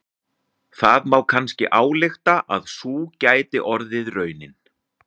Það má kannski álykta að sú gæti orðið raunin.